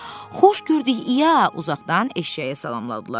"Xoş gördük İya," uzaqdan eşşəyə salamlandılar.